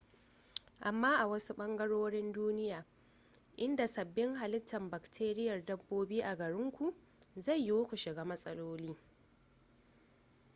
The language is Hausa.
amma a wasu ɓangarorin duniya inda sabin halittar bakteriyar dabbobin a gare ku zai yiwu ku shiga matsaloli